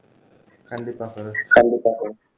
கண்டிப்பா பெரோஸ் கண்டிப்பா பெரோஸ்